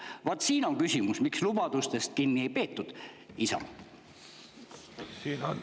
Vaat siin on küsimus: miks lubadusest kinni ei peetud, Isamaa?